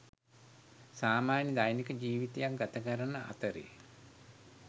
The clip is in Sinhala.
සාමාන්‍ය දෛනික ජීවිතයක් ගතකරන අතරේ